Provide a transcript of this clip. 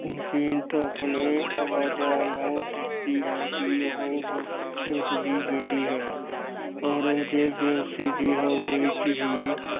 ਜੀਨਤ ਆਪਣੇ ਅੱਬਾਜਾਨ ਨੂੰ ਦੱਸਦੀ ਹੈ ਕਿ ਉਹ ਉਸਦੀ ਬੇਟੀ ਹੈ। ਔਰੰਗਜ਼ੇਬ ਬੇਹੋਸ਼ੀ ਦੀ ਹਾਲਤ ਵਿੱਚ ਹੀ